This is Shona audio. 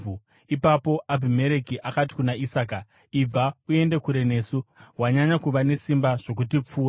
Ipapo Abhimereki akati kuna Isaka, “Ibva uende kure nesu; wanyanya kuva nesimba zvokutipfuura.”